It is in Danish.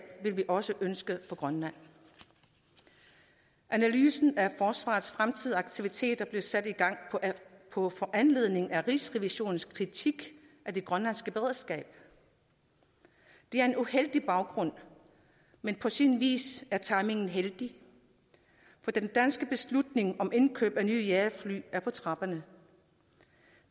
vil vi også ønske for grønland analysen af forsvarets fremtidige aktiviteter blev sat i gang på foranledning af rigsrevisionens kritik af det grønlandske beredskab det er en uheldig baggrund men på sin vis er timingen heldig for den danske beslutning om indkøb af nye jagerfly er på trapperne